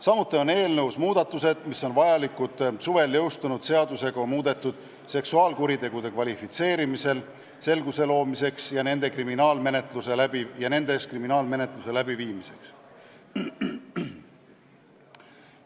Samuti on eelnõus muudatused, mis on vajalikud suvel jõustunud seadusega muudetud seksuaalkuritegude kvalifitseerimisel selguse loomiseks ja nendega seotud kriminaalmenetluse läbiviimiseks.